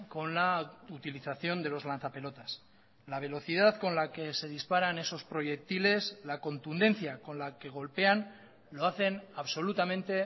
con la utilización de los lanzapelotas la velocidad con la que se disparan esos proyectiles la contundencia con la que golpean lo hacen absolutamente